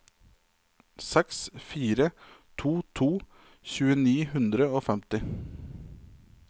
seks fire to to tjue ni hundre og femti